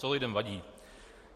Co lidem vadí?